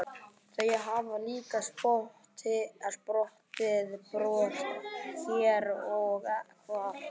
Svo hafa líka sprottið brjóst hér og hvar.